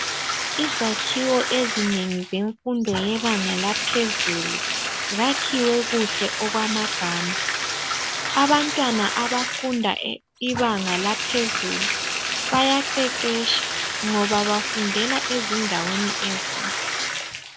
Izakhiwo ezinengi zemfundo yebanga laphezulu zakhiwe kuhle okwamagama abantwana abafunda ibanga laphezulu bayaqeqetsha ngoba bafundela ezindaweni ezinhle.